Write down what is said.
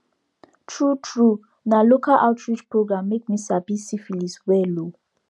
true true na local outreach program make me sabi syphilis well o